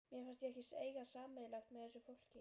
Mér fannst ég ekkert eiga sameiginlegt með þessu fólki.